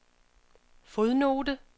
fodnote